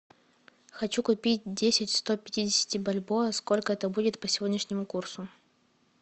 хочу купить десять сто пятидесяти бальбоа сколько это будет по сегодняшнему курсу